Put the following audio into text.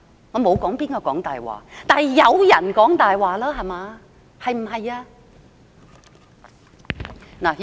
我沒有說誰講大話，但有人在講大話，對不對？